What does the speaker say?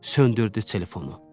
Söndürdü telefonu.